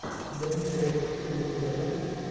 дэнни трехо фильм у тебя будет